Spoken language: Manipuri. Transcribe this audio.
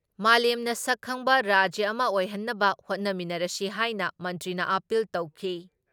ꯃꯥꯂꯦꯝꯅ ꯁꯛ ꯈꯪꯕ ꯔꯥꯖ꯭ꯌ ꯑꯃ ꯑꯣꯏꯍꯟꯅꯕ ꯍꯣꯠꯅꯃꯤꯟꯅꯔꯁꯤ ꯍꯥꯏꯅ ꯃꯟꯇ꯭ꯔꯤꯅ ꯑꯥꯄꯤꯜ ꯇꯧꯈꯤ ꯫